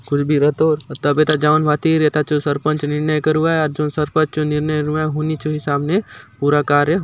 खुल बी रतोर तब एथा जाऊंन भांति एथा सरपंच निर्णय करुआय आउर जो सरपंच चो निर्णय रहुआय हुनि चो हिसाब ने पूरा कार्य --